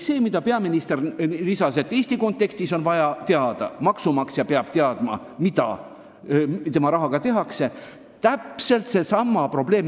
Peaministergi märkis, et ka Eesti maksumaksja peab teadma, mida tema rahaga tehakse – täpselt seesama probleem.